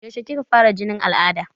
Yaushe kika fara jinin al'ada?